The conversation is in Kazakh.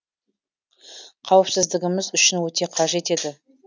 қауіпсіздігіміз үшін өте қажет еді